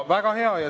Väga hea!